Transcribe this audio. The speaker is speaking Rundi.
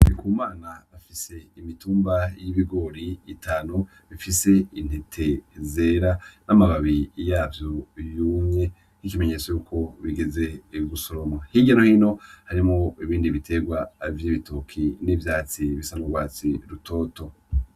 Ndikumama afise imitumba y'ibigori itanu ifise intete zera n'amababi yavyo yumye, nk'ikimenyetso yuko bigeze gusoromwa. Hirya no hino harimwo ibindi biterwa vy'ibitoki n'ivyatsi bisa n'urwatsi rutoto.